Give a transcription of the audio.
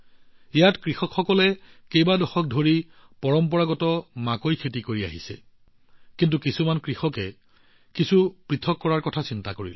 ইয়াত কৃষকসকলে কেইবা দশক ধৰি পৰম্পৰাগত মাকৈ খেতিত নিয়োজিত আছিল কিন্তু কিছুমান কৃষকে কিবা বেলেগ কৰাৰ কথা ভাবিছিল